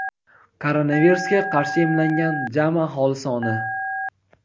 koronavirusga qarshi emlangan jami aholi soni:.